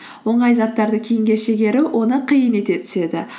оңай заттарды кейінге шегеру оны қиын ете түседі